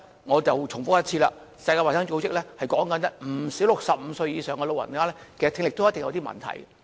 我重複一次，世界衞生組織指出，現時不少65歲以上長者的聽力也有一定問題。